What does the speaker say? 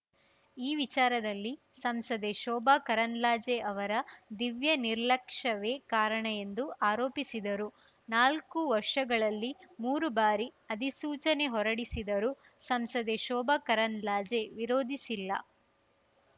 ಈ ವಿಚಾರದಲ್ಲಿ ಸಂಸದೆ ಶೋಭಾ ಕರಂದ್ಲಾಜೆ ಅವರ ದಿವ್ಯ ನಿರ್ಲಕ್ಷ್ಯವೇ ಕಾರಣ ಎಂದು ಆರೋಪಿಸಿದರು ನಾಲ್ಕು ವರ್ಷಗಳಲ್ಲಿ ಮೂರು ಬಾರಿ ಅಧಿಸೂಚನೆ ಹೊರಡಿಸಿದರೂ ಸಂಸದೆ ಶೋಭಾ ಕರಂದ್ಲಾಜೆ ವಿರೋಧಿಸಿಲ್ಲ